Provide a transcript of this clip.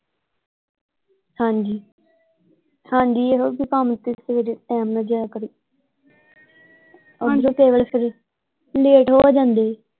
ਹਾਂਜੀ ਹਾਂਜੀ ਇਹੋ ਕਿ ਕੰਮ ਤੇ ਸਵੇਰੇ ਟਾਈਮ ਨਾਲ ਜਾਇਆ ਕਰੇ ਅੱਗੇ ਹਾਂਜੀ ਲੇਟ ਹੋ ਜਾਂਦੇ।